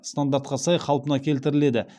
стандартқа сай қалпына келдтіріледі